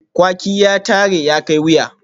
Kwaki ya tare, ya kai wuya